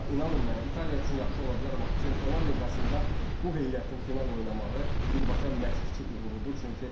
Amma inanın mənə İtaliya üçün yaxşı ola bilər, amma Çempionlar Liqasında bu heyətin final oynamağı birbaşa məşqçi uğurudur.